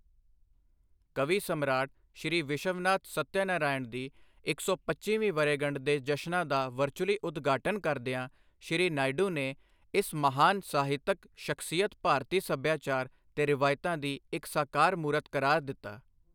ਕਵੀ ਸਮਰਾਟ ਸ਼੍ਰੀ ਵਿਸ਼ਵਨਾਥ ਸੱਤਯਨਾਰਾਇਣ ਦੀ ਇੱਕ ਸੌ ਪੱਚੀਵੀਂ ਵਰ੍ਹੇਗੰਢ ਦੇ ਜਸ਼ਨਾਂ ਦਾ ਵਰਚੁਅਲੀ ਉਦਘਾਟਨ ਕਰਦਿਆਂ ਸ਼੍ਰੀ ਨਾਇਡੂ ਨੇ ਇਸ ਮਹਾਨ ਸਾਹਿਤਕ ਸ਼ਖ਼ਸੀਅਤ ਭਾਰਤੀ ਸੱਭਿਆਚਾਰ ਤੇ ਰਵਾਇਤਾਂ ਦੀ ਇੱਕ ਸਾਕਾਰ ਮੂਰਤ ਕਰਾਰ ਦਿੱਤਾ।